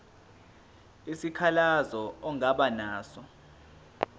isikhalazo ongaba naso